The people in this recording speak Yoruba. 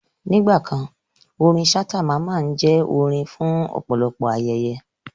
Nígbà kan, orin Ṣhata Mamman jẹ́ orin fún ọ̀pọ̀lọpọ̀ ayẹyẹ